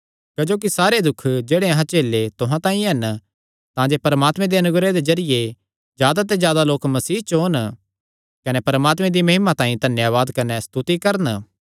क्जोकि सारे दुख जेह्ड़े अहां झेले तुहां तांई हन तांजे परमात्मे दे अनुग्रह दे जरिये जादा ते जादा लोक मसीह च ओन कने परमात्मे दी महिमा तांई धन्यावाद कने स्तुति करन